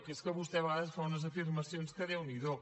que és que vostè a vegades ens fa unes afirmacions que déu n’hi do